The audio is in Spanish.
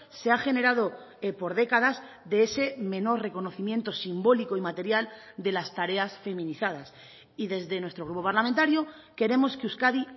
se ha generado por décadas de ese menor reconocimiento simbólico y material de las tareas feminizadas y desde nuestro grupo parlamentario queremos que euskadi